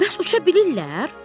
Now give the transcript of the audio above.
Bəs uça bilirlər?